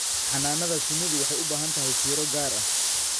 Xannaanada shinnidu waxay u baahan tahay fiiro gaar ah.